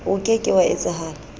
o ke ke wa etsahala